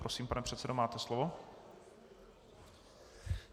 Prosím, pane předsedo, máte slovo.